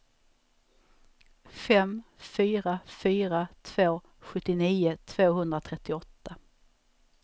fem fyra fyra två sjuttionio tvåhundratrettioåtta